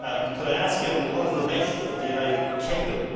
Could I ask him what is the basis of the United Kingdom?